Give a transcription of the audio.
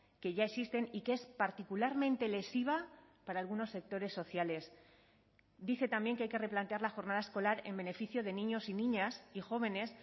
que ya existen y que es particularmente lesiva para algunos sectores sociales dice también que hay que replantear la jornada escolar en beneficio de niños y niñas y jóvenes